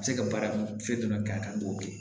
A bɛ se ka baara fɛn jumɛn k'a kan i b'o kɛ